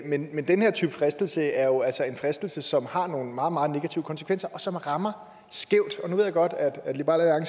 men men den her type fristelse er jo altså en fristelse som har nogle meget meget negative konsekvenser og som rammer skævt nu ved jeg godt at liberal